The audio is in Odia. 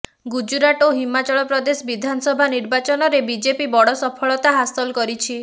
ଗୁଜୁରାଟ ଓ ହିମାଚଳ ପ୍ରଦେଶ ବିଧାନସଭା ନିର୍ବାଚନରେ ବିଜେପି ବଡ଼ ସଫଳତା ହାସଲ କରିଛି